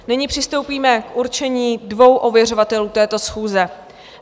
Nyní přistoupíme k určení dvou ověřovatelů této schůze.